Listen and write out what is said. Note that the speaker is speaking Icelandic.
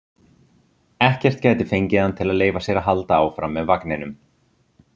Ekkert gæti fengið hann til að leyfa sér að halda áfram með vagninum.